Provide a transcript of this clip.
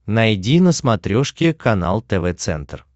найди на смотрешке канал тв центр